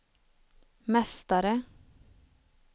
mästare